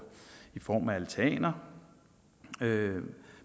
i form af altaner